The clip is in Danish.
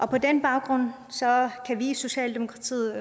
på den baggrund kan vi i socialdemokratiet